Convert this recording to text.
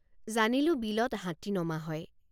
জানিলোঁ বিলত হাতী নমা হয়।